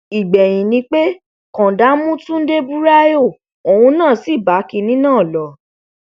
ìgbẹyìn ni pé kọńdà mú túnde buraiho òun náà sí bá kinní náà lọ